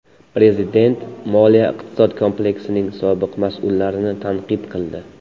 Prezident moliya-iqtisod kompleksining sobiq mas’ullarini tanqid qildi .